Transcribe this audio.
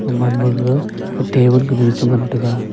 gaman gaga table kanu a che ngan tega.